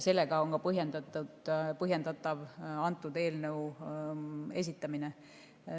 Sellega on põhjendatav selle eelnõu esitamine.